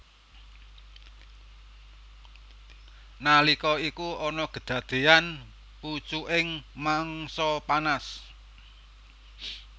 Nalika iku ana kedadeyan pucuking mangsa panas